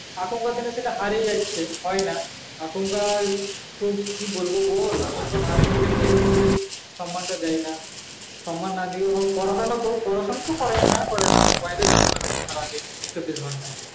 এখনকার দিনে ছেলেরা হারিয়ে যাচ্ছে, আর কি বলবো এখনকার দিনে মাস্টারকে দেখে সম্মান দেই না সম্মান না করলে মোবাইলে ব্যস্ত থাকে সারাদিন চবিস ঘন্টা